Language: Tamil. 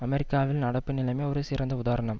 அமெரிக்காவின் நடப்பு நிலைமை ஒரு சிறந்த உதாரணம்